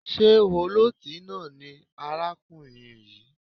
Ṣé ọlọ́tí náà ni arákùnrin yìí?